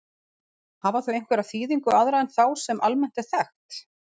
Hafa þau einhverja þýðingu aðra en þá, sem almennt er þekkt?